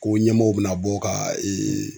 Ko ɲɛmɔgɔ bena bɔ ka ee